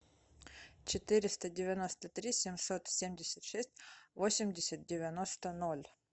четыреста девяносто три семьсот семьдесят шесть восемьдесят девяносто ноль